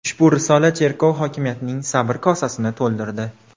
Ushbu risola cherkov hokimiyatining sabr kosasini to‘ldirdi.